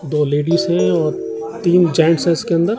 दो लेडीज हैं और तीन जेंट्स हैं इसके अंदर--